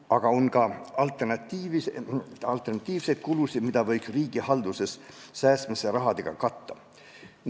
Aga on ka alternatiivseid kulusid, mida võiks riigihalduses säästmise rahaga katta.